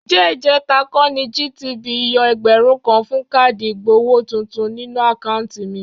Ǹjẹ́ ìjẹ̀ta kọ́ ni GTB yọ ẹgbẹ̀rún kan fún káàdì ìgbowó tuntun nínú àkáùntì mi?